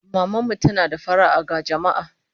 Maman mu tana da fara'a ga jama'a